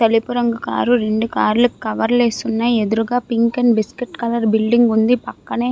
తెలుపు రంగు కార్ రెండు కార్ లు కవర్ లు వేసి ఉన్నాయి. ఎదురుగుండా pink and biscuit colour building ఉంది. పక్కనే --